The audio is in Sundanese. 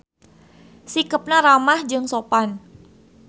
Sikepna ramah jeung sopan.